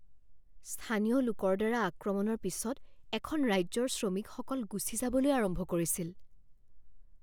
স্থানীয় লোকৰ দ্বাৰা আক্ৰমণৰ পিছত এখন ৰাজ্যৰ শ্ৰমিকসকল গুচি যাবলৈ আৰম্ভ কৰিছিল।